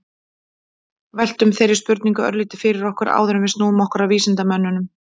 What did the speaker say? veltum þeirri spurningu örlítið fyrir okkur áður en við snúum okkur að vísindamönnunum